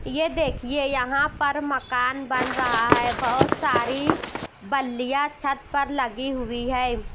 ये देखिए यहां पर मकान बन रहा है बहुत सारी बल्लियां छत पर लगी हुई है।